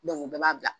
u bɛɛ b'a bila